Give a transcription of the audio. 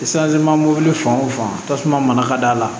mobili fan wo fan tasuma mana la